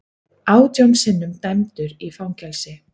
Átján sinnum dæmdur í fangelsi